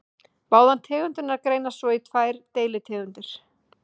Báðar tegundirnar greinast svo í tvær deilitegundir.